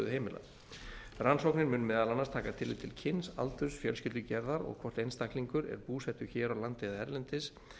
heimilanna rannsóknin mun meðal annars taka tillit til kyns aldurs fjölskyldugerðar og hvort einstaklingur er búsettur hér á landi eða erlendis